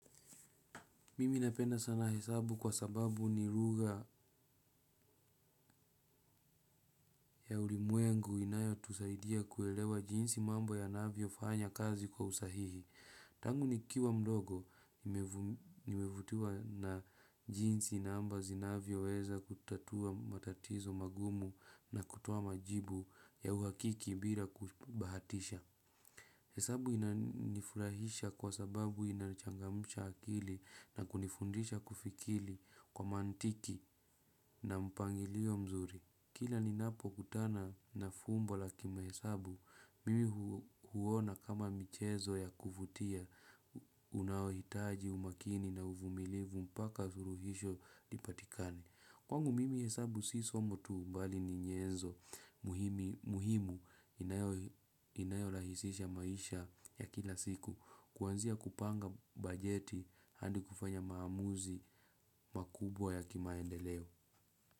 Mimi napenda sana hesabu kwa sababu ni lugha ya ulimwengu inayo tusaidia kuelewa jinsi mambo ya anavyo fanya kazi kwa usahihi. Tangu nikiwa mdogo nmevutiwa na jinsi na namba zinavyo weza kutatua matatizo magumu na kutoa majibu ya uhakika bila kubahatisha. Hesabu inanifurahisha kwa sababu inachangamsha akili na kunifundisha kufikiri kwa mantiki na mpangilio mzuri. Kila ni napo kutana na fumbo la kima hesabu, mimi huona kama michezo ya kuvutia unaohitaji umakini na uvumilivu mpaka suruhisho ipatikane kwangu mimi hesabu si somo tu mbali ni nyenzo muhimu inayo inayo rahisisha maisha ya kila siku kuanzia kupanga bajeti hadi kufanya maamuzi makubwa ya kimaendeleo.